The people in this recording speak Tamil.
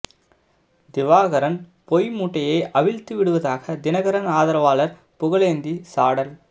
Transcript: திவாகரன் பொய் மூட்டையை அவிழ்த்து விடுவதாக தினகரன் ஆதரவாளர் புகழேந்தி சாடல்